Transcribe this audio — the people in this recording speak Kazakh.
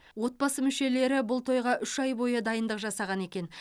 отбасы мүшелері бұл тойға үш ай бойы дайындық жасаған екен